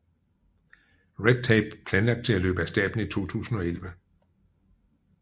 Red Tape planlagt til at løbe af stablen i 2011